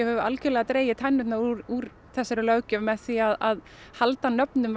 hefur algerlega dregið tennirnar úr þessari löggjöf með því að halda nöfnum